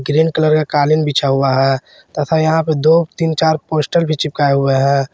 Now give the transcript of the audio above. Green colour का कालीन बिछा हुआ है तथा यहां पे दो तीन चार पोस्टर भी चिपकाए हुए हैं।